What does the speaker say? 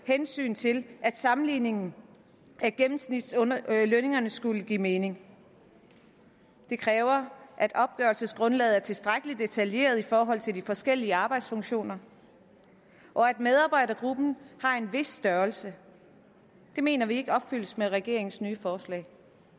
hensyn til at sammenligningen af gennemsnitslønningerne skulle give mening det kræver at opgørelsesgrundlaget er tilstrækkelig detaljeret i forhold til de forskellige arbejdsfunktioner og at medarbejdergruppen har en vis størrelse det mener vi ikke opfyldes med regeringens nye forslag